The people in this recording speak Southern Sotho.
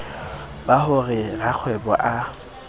ba ho re rakgwebo a